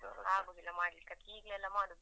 ಆಗುದಿಲ್ಲ ಮಾಡ್ಲಿಕ್ಕೆ ಅದಕ್ಕೆ ಈಗ್ಲೇ ಎಲ್ಲಾ ಮಾಡುದು.